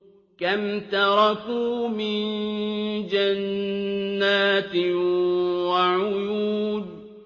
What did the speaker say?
كَمْ تَرَكُوا مِن جَنَّاتٍ وَعُيُونٍ